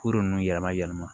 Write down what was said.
Kuru nunnu yɛlɛma yɛlɛma